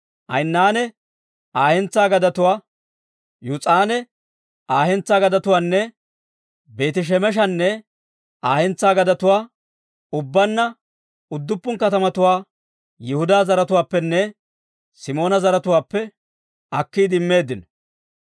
Ayinanne Aa hentsaa gadetuwaa, Yuus'anne Aa hentsaa gadetuwaanne Beeti-Shemeshanne Aa hentsaa gadetuwaa, ubbaanna udduppun katamatuwaa Yihudaa zaratuwaappenne Simoona zaratuwaappe akkiide immeeddino.